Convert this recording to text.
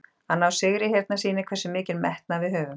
Að ná sigri hérna sýnir hversu mikinn metnað við höfum.